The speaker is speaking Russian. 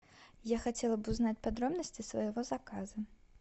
я хотела бы узнать подробности своего заказа